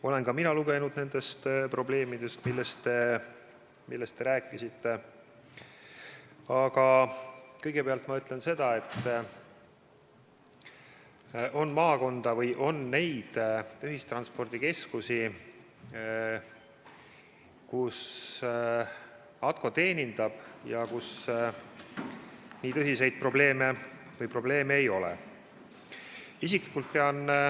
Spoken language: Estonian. Olen ka mina lugenud nendest probleemidest, millest te rääkisite, aga kõigepealt ma ütlen seda, et on maakondi, on neid ühistranspordikeskusi, kus ATKO teenindab ja kus nii tõsiseid probleeme ei ole.